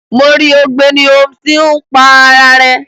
Mo ri ogbeni Holmes ti n pá ara rẹ.